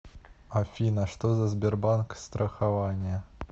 афина что за сбербанк страхование